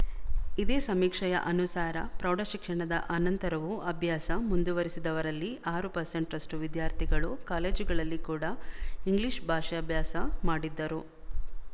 ಇದೇ ಸಮೀಕ್ಷೆಯ ಅನುಸಾರ ಪ್ರೌಢಶಿಕ್ಷಣದ ಅನಂತರವೂ ಅಭ್ಯಾಸ ಮುಂದುವರಿಸಿದವರಲ್ಲಿ ಆರು ಪರ್ಸೆಂಟ್ ರಷ್ಟು ವಿದ್ಯಾರ್ಥಿಗಳು ಕಾಲೇಜುಗಳಲ್ಲಿ ಕೂಡ ಇಂಗ್ಲಿಶ ಭಾಷಾಭ್ಯಾಸ ಮಾಡಿದ್ದರು